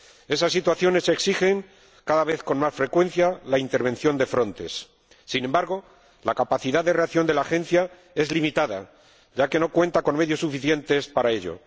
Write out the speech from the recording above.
Esas situaciones exigen, cada vez con más frecuencia, la intervención de Frontex. Sin embargo, la capacidad de reacción de la Agencia es limitada, ya que no cuenta con medios suficientes para ello.